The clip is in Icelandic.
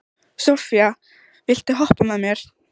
Sophia, viltu hoppa með mér?